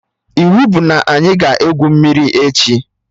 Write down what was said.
Iwu bụ na anyị ga-egwu mmiri echi!